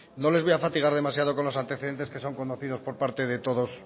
no les voy a fatigar demasiado con los antecedentes que son conocidos por parte de todos